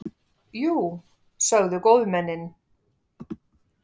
Jú, sögðu góðmennin.